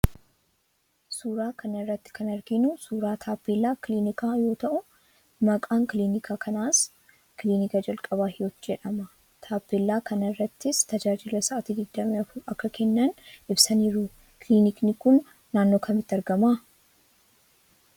Suuraa kana irratti kan arginu suuraa taappellaa kilinika yoo ta'u, maqaan kilinika kanaas Kilinika Jalqabaa Hiwoot jedhama. Taappeellaa kana irrattis tajaajila sa'aatii 24 akka kennan ibsaniiru. Kiliniki kun naannoo kamitti argama?